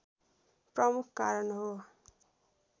प्रमुख कारण हो